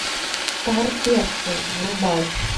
старперцы врубай